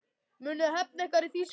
Munuð þið hefna ykkar í Þýskalandi?